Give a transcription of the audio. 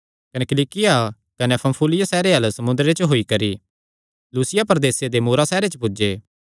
कने किलिकिया कने पन्फूलिया सैहरे अल्ल समुंदरे च होई करी लूसिया प्रदेसे दे मूरा सैहरे च पुज्जे